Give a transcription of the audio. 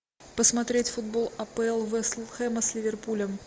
посмотреть футбол апл вест хэма с ливерпулем